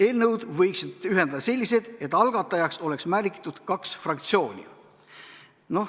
Eelnõud võiks ühendada selliselt, et algatajaks oleks märgitud kaks fraktsiooni.